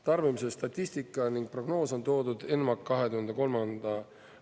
Tarbimise statistika ning prognoos on toodud ENMAK 20.